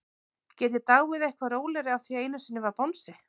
Get ég dáið eitthvað rólegri af því einu sinni var bangsi?